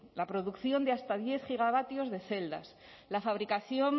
la producción de hasta diez gigavatios de celdas la fabricación